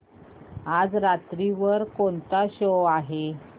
आज रात्री वर कोणता शो आहे